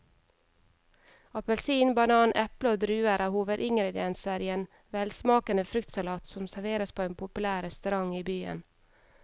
Appelsin, banan, eple og druer er hovedingredienser i en velsmakende fruktsalat som serveres på en populær restaurant i byen.